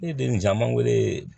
Ne ye den caman weele